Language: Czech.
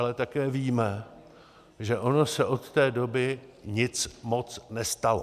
Ale také víme, že ono se od té doby nic moc nestalo.